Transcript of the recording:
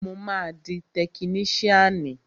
Mo máa di tekiníṣíànì